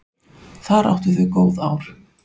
Þar áttu þau góð ár.